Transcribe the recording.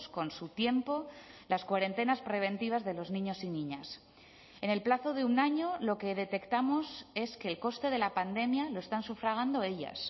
con su tiempo las cuarentenas preventivas de los niños y niñas en el plazo de un año lo que detectamos es que el coste de la pandemia lo están sufragando ellas